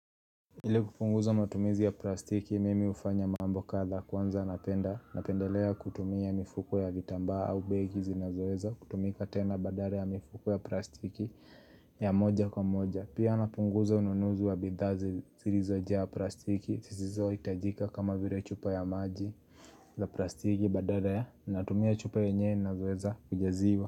Ile kupunguza matumizi ya plastiki, mimi hufanya mambo kadha kwanza napendelea kutumia mifuko ya vitambaa au begi zilizoweza kutumika tena badara ya mifuko ya plastiki ya moja kwa moja Pia napunguza ununuzi wa bidhaa zirizojaa plastiki Sisizo hitajika kama vire chupa ya maji la plastiki badara natumia chupa yenye naweza kujaziwa.